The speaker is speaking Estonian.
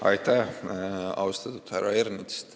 Aitäh, austatud härra Ernits!